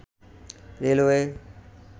railway